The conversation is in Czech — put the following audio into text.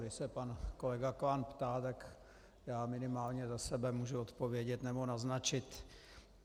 Když se pan kolega Klán ptá, tak já minimálně za sebe můžu odpovědět nebo naznačit.